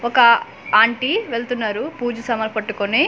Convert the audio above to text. ఒక ఆంటీ వెళ్తున్నారు పూజ సామాన్లు పట్టుకొని చ--